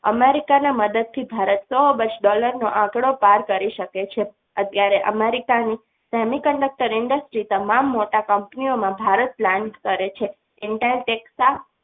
America ના મદદથી ભારત સો અબજ dollar નો આંકડો પાર કરી શકે છે અત્યારે America ની semiconductor industries તમામ મોટા company ઓમાં ભારત plan કરે છે.